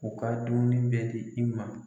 U ka dumuni bɛ di i ma.